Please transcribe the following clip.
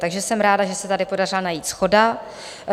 Takže jsem ráda, že se tady podařila najít shoda.